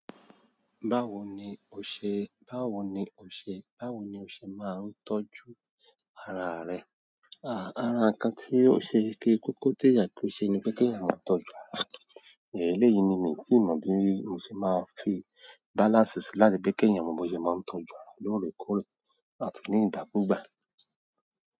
Báwo ni o ṣe, báwo ni o ṣe, báwo ni o ṣe máa ń tọ́jú ara rẹ? Àh, ara nkan tí ó ṣe kí kòkó teeyan kí ó ṣe ni pé kí èèyàn máa tọ́jú ara. Èléyìí ni mí tí mo bíi mo ṣe máa ń fi balance si láti pé kí èèyàn mọ bí o ṣe máa ń tọ́jú ara lóòrèkóòrè àti ní ìgbakugba.